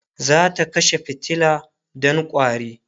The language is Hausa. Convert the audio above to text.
zata kashe fitila Dan ƙwari